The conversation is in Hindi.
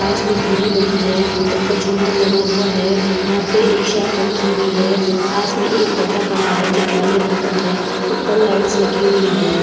पास में टी.वी. लगी है। ऊपर झूमर लगा हुआ है। यहां पे एक शेफ रखी हुई है। पास में एक पर्दा पड़ा है जो काले रंग का है। ऊपर लाइट्स लगी हुई हैं।